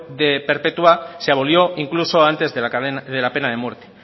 perpetua se abolió incluso antes de la pena de muerte